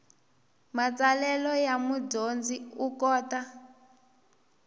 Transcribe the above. matsalelo ya mudyondzi u kota